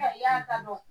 I y'a dɔn